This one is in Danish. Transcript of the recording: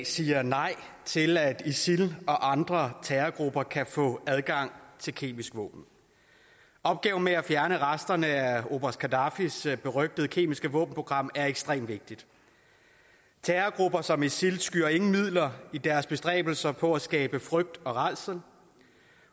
siger nej til at isil og andre terrorgrupper kan få adgang til kemiske våben opgaven med at fjerne resterne af oberst gaddafis berygtede kemiske våbenprogram er ekstremt vigtig terrorgrupper som isil skyr ingen midler i deres bestræbelser på at skabe frygt og rædsel